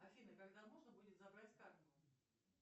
афина когда можно будет забрать карту